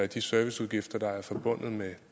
de serviceudgifter der er forbundet med